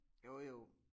Jo jo